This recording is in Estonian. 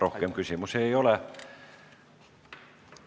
Rohkem küsimusi ei ole.